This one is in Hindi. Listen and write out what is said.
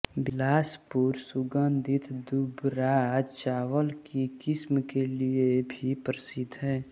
बिलासपुर सुगंधित दूबराज चावल की किस्म के लिए भी प्रसिद्ध है